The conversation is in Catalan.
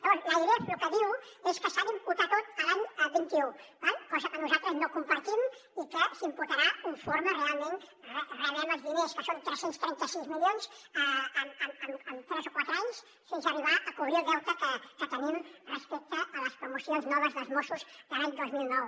llavors l’airef lo que diu és que s’ha d’imputar tot a l’any vint un d’acord cosa que nosaltres no compartim i que s’imputarà conforme realment rebem els diners que són tres cents i trenta sis milions en tres o quatre anys fins arribar a cobrir el deute que tenim respecte a les promocions noves dels mossos de l’any dos mil nou